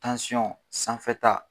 sanfɛta